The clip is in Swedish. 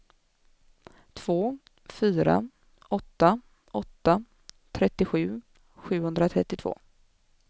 två fyra åtta åtta trettiosju sjuhundratrettiotvå